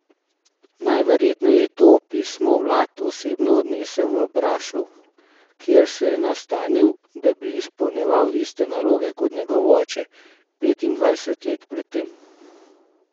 Najverjetneje je to pismo Vlad osebno odnesel v Brašov, kjer se je nastanil, da bi izpolnjeval iste naloge kot njegov oče petindvajset let pred tem.